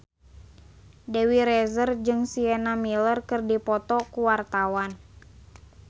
Dewi Rezer jeung Sienna Miller keur dipoto ku wartawan